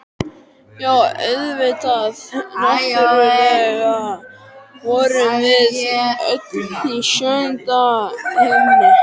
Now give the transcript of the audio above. Já, auðvitað, náttúrlega vorum við öll í sjöunda himni!